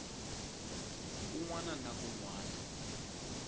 kun wana na kun wana